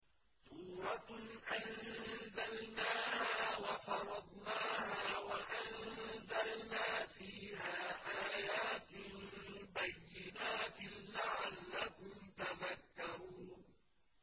سُورَةٌ أَنزَلْنَاهَا وَفَرَضْنَاهَا وَأَنزَلْنَا فِيهَا آيَاتٍ بَيِّنَاتٍ لَّعَلَّكُمْ تَذَكَّرُونَ